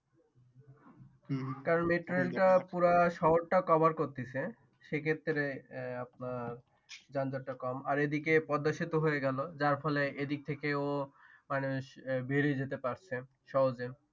কারণ মেট্রোরেল টা পুরা শহরটা Cover করতেছে সেক্ষেত্রে আাপনার যনজট টা কম আর এইদিকে পদ্মা সেতু হইয়ে গেল যার ফলে এইদিক থেকেও মানে বের হইয়ে যেতে পারছেন